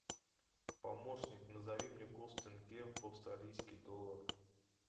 помощник назови мне курс тенге в австралийский доллар